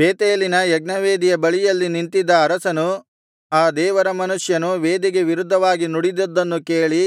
ಬೇತೇಲಿನ ಯಜ್ಞವೇದಿಯ ಬಳಿಯಲ್ಲಿ ನಿಂತಿದ್ದ ಅರಸನು ಆ ದೇವರ ಮನುಷ್ಯನು ವೇದಿಗೆ ವಿರುದ್ಧವಾಗಿ ನುಡಿದಿದ್ದನ್ನು ಕೇಳಿ